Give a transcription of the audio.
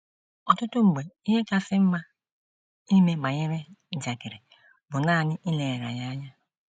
Ọtụtụ mgbe, ihe kasị mma ime banyere njakịrị bụ nanị ileghara ya anya.